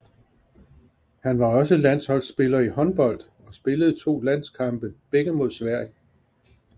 Han var også landsholdspiller i håndbold og spillede to landskampe begge mod Sverige